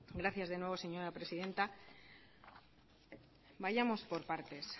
gracias de nuevo señora presidenta vayamos por partes